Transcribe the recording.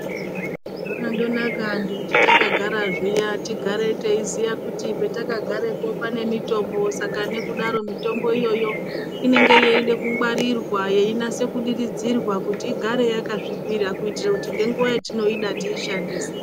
Zvakandonaka antu kuti takagara zviya tigare teiziya kuti patakagarepo panemitombo saka nekudaro mitombo iyoyo inenge yeide kungwarirwa yeinase kudiridzirwa kuti igare yakasvipira kuitira kuti ngenguwa yatinoida tishandise.